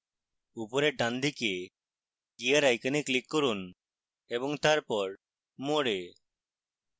উপরের ডানদিকে gear icon click করুন এবং তারপর more এ